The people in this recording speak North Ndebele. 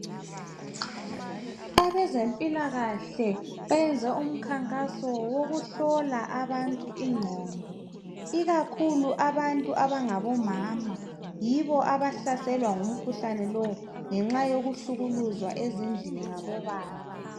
Abezempilakahle benze umkhankaso wokuhlola abantu ingqondo ikakhulu abantu abangabomama yibo abahlaselwa ngumkhuhlane lo kakhulu ngenxa yokukuhlukuluzwa ezindlini ngabobaba.